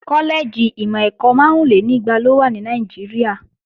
Kọ́lẹ́ẹ̀jì ìmọ̀-ẹ̀kọ́ márúnlénígba ló wà ní Nàìjíríà